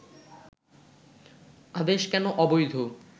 আদেশ কেন অবৈধ